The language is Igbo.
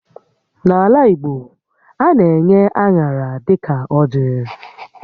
N'ala Igbo, a na-enye aṅara dịka ọjị́